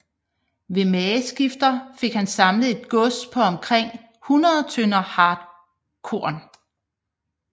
Ved mageskifter fik han samlet et gods på omkring 100 tønder hartkorn